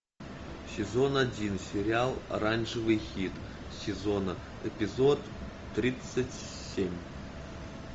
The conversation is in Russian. сезон один сериал оранжевый хит сезона эпизод тридцать семь